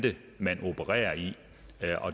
man opererer i